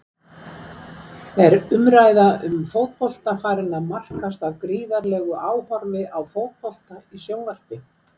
Er umræða um fótbolta farin að markast af gríðarlegu áhorfi á fótbolta í sjónvarpi?